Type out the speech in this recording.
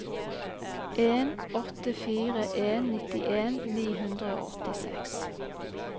en åtte fire en nittien ni hundre og åttiseks